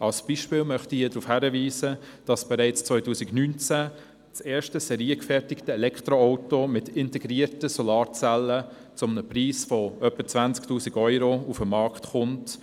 Ein Beispiel ist das erste, bereits 2019 seriengefertigte Elektroauto mit integrierten Solarzellen, das zum Preis von etwa 20 000 Euro auf den Markt kommt.